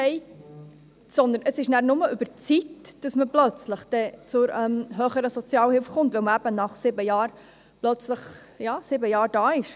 Demgegenüber läuft es nur noch über die Zeit, dass man plötzlich zur höheren Sozialhilfe kommt, weil man eben nach sieben Jahren, ja, sieben Jahre hier ist.